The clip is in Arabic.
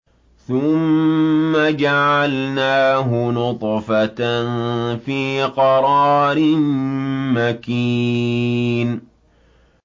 ثُمَّ جَعَلْنَاهُ نُطْفَةً فِي قَرَارٍ مَّكِينٍ